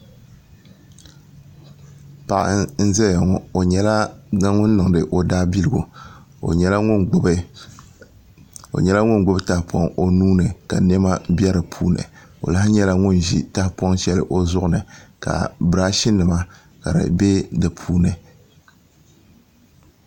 Paɣa n ʒɛya ŋo o nyɛla ŋun niŋdi o daabiligu o nyɛla ŋun gbubi tahapoŋ o nuuni ka niɛma bɛ di puuni o lahi nyɛla ŋun ʒi tahapoŋ shɛli o zuɣuni ka biraash nima ka di bɛ di puuni